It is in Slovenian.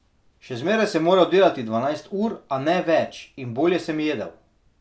Še zmeraj sem moral delati dvanajst ur, a ne več, in bolje sem jedel.